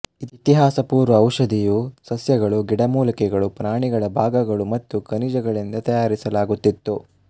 ಇತಿಹಾಸಪೂರ್ವ ಔಷಧಿಯು ಸಸ್ಯಗಳು ಗಿಡಮೂಲಿಕೆ ಪ್ರಾಣಿಗಳ ಭಾಗಗಳು ಮತ್ತು ಖನಿಜಗಳಿಂದ ತಯಾರಿಸಲಾಗುತ್ತಿತ್ತು